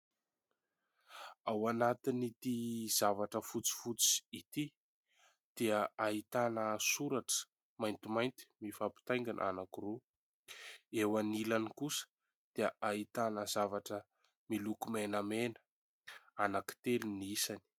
Ao anatin'ity zavatra fotsifotsy ity dia ahitana soratra maintimainty mifampitaingana anankiroa, eo anilany kosa dia ahitana zavatra miloko menamena, anankitelo ny isany.